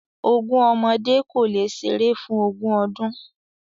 Ogún ọmọdé kólé ṣeré fún ògún ọdún